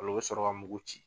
O la u bɛ sɔrɔ ka mugu ci.